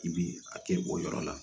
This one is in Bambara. I bi a kɛ o yɔrɔ la